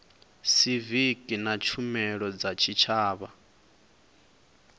siviki na tshumelo dza tshitshavha